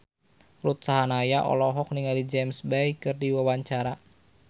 Ruth Sahanaya olohok ningali James Bay keur diwawancara